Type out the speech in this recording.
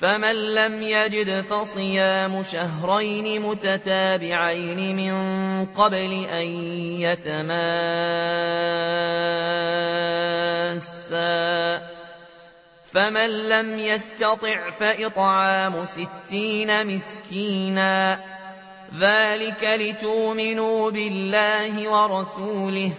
فَمَن لَّمْ يَجِدْ فَصِيَامُ شَهْرَيْنِ مُتَتَابِعَيْنِ مِن قَبْلِ أَن يَتَمَاسَّا ۖ فَمَن لَّمْ يَسْتَطِعْ فَإِطْعَامُ سِتِّينَ مِسْكِينًا ۚ ذَٰلِكَ لِتُؤْمِنُوا بِاللَّهِ وَرَسُولِهِ ۚ